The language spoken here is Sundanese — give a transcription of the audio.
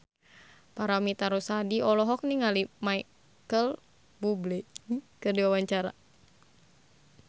Paramitha Rusady olohok ningali Micheal Bubble keur diwawancara